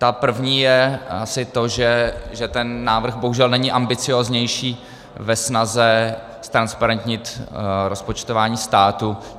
Ta první je asi to, že ten návrh bohužel není ambicióznější ve snaze ztransparentnit rozpočtování státu.